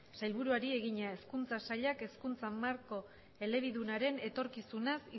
sailburuari egina hezkuntza sailak hezkuntza marko hirueledunaren etorkizunaz